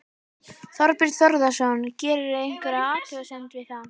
Þorbjörn Þórðarson: Gerirðu einhverja athugasemd við það?